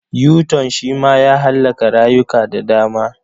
Yuton shi ma ya hallaka rayuka da dama.